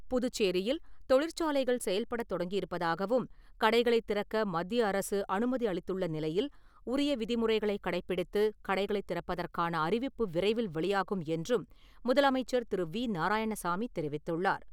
புதுச்சேரியில் தொழிற்சாலைகள் செயல்படத் தொடங்கியிருப்பதாகவும் கடைகளை திறக்க மத்திய அரசு அனுமதி அளித்துள்ள நிலையில், உரிய விதிமுறைகளை கடைபிடித்து கடைகளை திறப்பதற்கான அறிவிப்பு விரைவில் வெளியாகும் என்றும் முதலமைச்சர் திரு. வி. நாராயணசாமி தெரிவித்துள்ளார்.